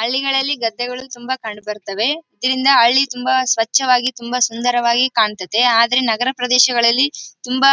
ಹಳ್ಳಿಗಳಲ್ಲಿ ಗದ್ದೆಗಳು ತುಂಬಾ ಕಂಡು ಬರ್ತ್ತವೆ ಇದರಿಂದ ಹಳ್ಳಿ ತುಂಬಾ ಸ್ವಚ್ಛವಾಗಿ ತುಂಬಾ ಸುಂದರವಾಗಿ ಕಾಣ್ತಾತ್ತ. ಆದ್ರೆ ನಗರ ಪ್ರದೇಶಗಳಲ್ಲಿ ತುಂಬಾ